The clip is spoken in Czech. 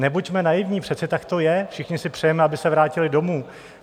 Nebuďme naivní, přece tak to je, všichni si přejeme, aby se vrátili domů.